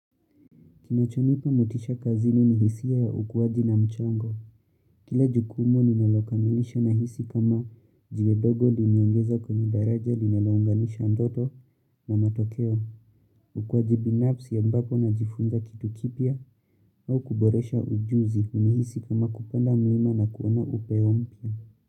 Kinachonipa motisha kazini ni hisia ya ukuaji na mchango. Kila jukumu ninalokamilisha nahisi kama jiwe dogo limeongeza kwenye daraja linalounganisha ndoto na matokeo. Ukuaji binafsi ambapo najifunza kitu kipya au kuboresha ujuzi hunihisi kama kupanda mlima na kuona upeo mpya.